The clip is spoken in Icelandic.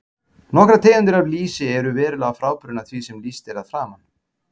Nokkrar tegundir af lýsi eru verulega frábrugðnar því sem er lýst að framan.